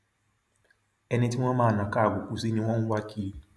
ẹni tí wọn máa nàka àbùkù sí ni wọn ń wá kiri